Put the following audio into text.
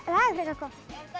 er frekar gott